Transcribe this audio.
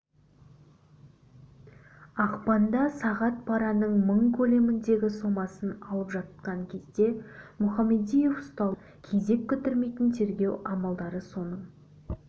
ақпанда сағат параның мың көлеміндегі сомасын алып жатқан кезде мұхамадиев ұсталды кезек күттірмейтін тергеу амалдары соның